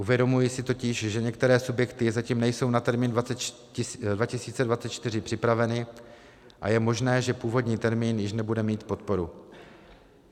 Uvědomuji si totiž, že některé subjekty zatím nejsou na termín 2024 připraveny a je možné, že původní termín již nebude mít podporu.